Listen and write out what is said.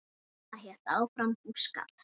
Mamma hélt áfram búskap.